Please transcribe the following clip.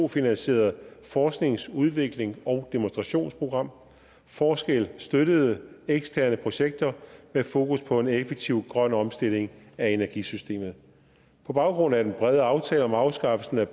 finansieret forsknings udviklings og demonstrationsprogram forskel støttede eksterne projekter med fokus på en effektiv grøn omstilling af energisystemet på baggrund af den brede aftale om afskaffelse